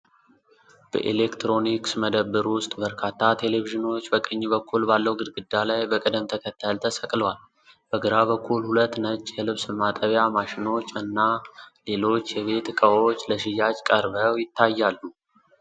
በኤሌክትሮኒክስ መደብር ውስጥ፣ በርካታ ቴሌቪዥኖች በቀኝ በኩል ባለው ግድግዳ ላይ በቅደም ተከተል ተሰቅለዋል። በግራ በኩል ሁለት ነጭ የልብስ ማጠቢያ ማሽኖች እና ሌሎች የቤት እቃዎች ለሽያጭ ቀርበው ይታያሉ።